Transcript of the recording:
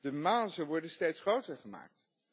De mazen worden steeds groter gemaakt.